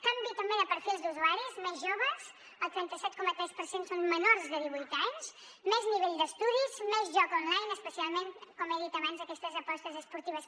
canvi també de perfils d’usuaris més joves el trenta set coma tres per cent són menors de divuit anys més nivell d’estudis més joc online especialment com he dit abans aquestes apostes esportives